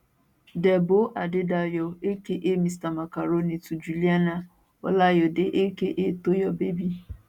debo adedayo aka mr macaroni to juliana olayode aka toyo baby